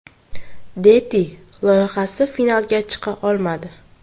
Deti” loyihasi finaliga chiqa olmadi.